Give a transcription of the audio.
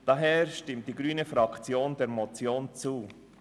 Deshalb stimmt die grüne Fraktion der Motion zu.